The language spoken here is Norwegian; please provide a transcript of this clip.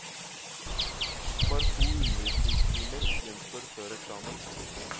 Bare to undervisningstimer gjenstår før eksamen.